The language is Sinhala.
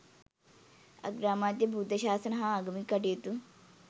අග්‍රාමාත්‍ය, බුද්ධ ශාසන හා ආගමික කටයුතු